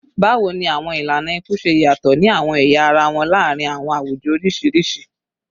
Bawo ni awọn ilana iku ṣe yatọ ni awọn ẹya ara wọn laarin awọn awujọ oriṣiriṣi?